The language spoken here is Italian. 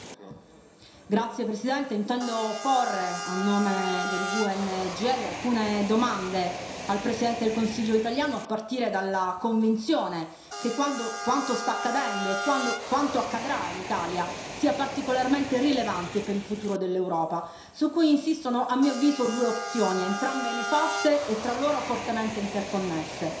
Signor Presidente, onorevoli colleghi, intendo porre, a nome del gruppo GUE NGL, alcune domande al Presidente del Consiglio italiano, a partire dalla convinzione che quanto sta accadendo e quanto accadrà in Italia sia particolarmente rilevante per il futuro dell'Europa su cui insistono, a mio avviso, due opzioni, entrambe nefaste e tra loro fortemente interconnesse